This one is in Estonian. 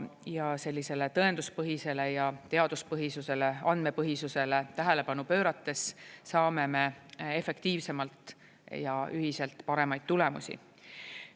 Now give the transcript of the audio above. Ja sellisele tõenduspõhisele ja teaduspõhisusele, andmepõhisusele tähelepanu pöörates saame me efektiivsemalt ja ühiselt paremaid tulemusi.